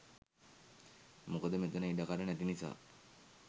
මොකද මෙතන ඉඩකඩ නැති නිසා